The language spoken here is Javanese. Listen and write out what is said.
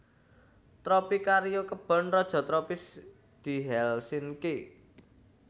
Tropicario kebon raja tropis di Helsinki